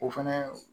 O fɛnɛ